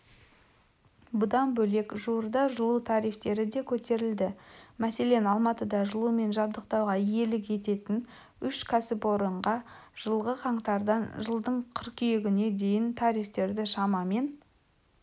бұдан бөлек жуырда жылу тарифтері де көтерілді мәселен алматыда жылумен жабдықтауға иелік ететін үш кәсіпорынға жылғы қаңтардан жылдың қыркүйегіне дейін тарифтерді шамамен